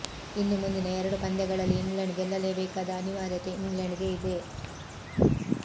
ಇನ್ನು ಮುಂದಿನ ಎರಡು ಪಂದ್ಯಗಳಲ್ಲಿ ಇಂಗ್ಲೆಂಡ್ ಗೆಲ್ಲಲೇಬೇಕಾದ ಅನಿವಾರ್ಯತೆ ಇಂಗ್ಲೆಂಡ್ ಗೆ ಇದೆ